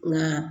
Nka